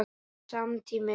Sami tími.